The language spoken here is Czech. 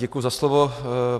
Děkuji za slovo.